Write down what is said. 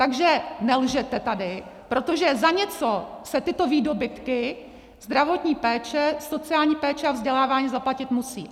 Takže nelžete tady, protože za něco se tyto výdobytky zdravotní péče, sociální péče a vzdělávání zaplatit musí.